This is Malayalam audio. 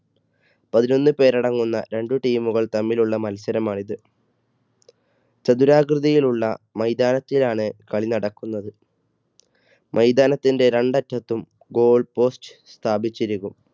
പതിനൊന്ന് പേര് അടങ്ങുന്ന രണ്ട് team കൾ തമ്മിലുള്ള മത്സരമാണിത്. ചതുരാകൃതിയിലുള്ള മൈതാനത്തിലാണ് കളി നടക്കുന്നത്. മൈതാനത്തിന്റെ രണ്ടറ്റത്തും goal post സ്ഥാപിച്ചിരിക്കും.